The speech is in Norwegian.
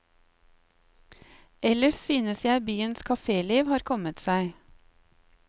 Ellers synes jeg byens kaféliv har kommet seg.